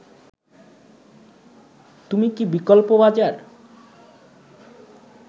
তুমি কি বিকল্প বাজার